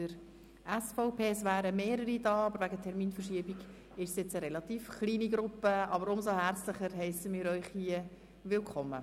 Es wären mehr Personen anwesend, aber wegen einer Terminverschiebung ist die Gruppe relativ klein, aber umso herzlicher heissen wir Sie willkommen.